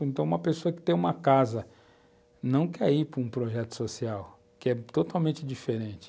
Então, uma pessoa que tem uma casa não quer ir para um projeto social, que é totalmente diferente.